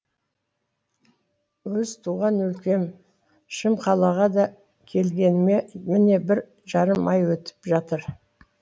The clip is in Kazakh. өз туған өлкем шым қалаға да келгеніме міне бір жарым ай өтіп жатыр